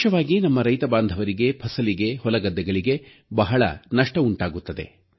ವಿಶೇಷವಾಗಿ ನಮ್ಮ ರೈತಬಾಂಧವರಿಗೆ ಫಸಲಿಗೆ ಹೊಲಗದ್ದೆಗಳಿಗೆ ಬಹಳ ನಷ್ಟ ಉಂಟಾಗುತ್ತದೆ